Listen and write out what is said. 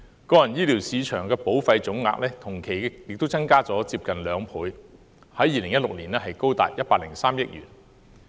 個人醫療市場保費總額同期亦增加近兩倍，在2016年高達103億元。